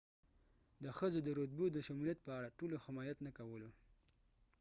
د ښځو د رتبو د شمولیت په اړه ټولو حمایت نه کولو